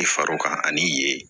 I far'o kan ani ye